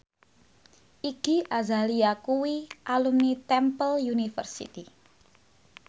Iggy Azalea kuwi alumni Temple University